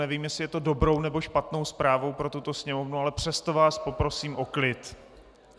Nevím, jestli je to dobrou, nebo špatnou zprávou pro tuto Sněmovnu, ale přesto vás poprosím o klid.